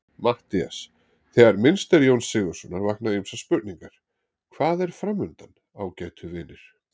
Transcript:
MATTHÍAS: Þegar minnst er Jóns Sigurðssonar vakna ýmsar spurningar: Hvað er framundan, ágætu vinir?